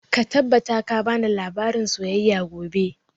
Ka tabbata ka bani labarin soyayya gobe!